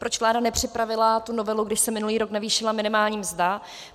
Proč vláda nepřipravila tu novelu, když se minulý rok navýšila minimální mzda.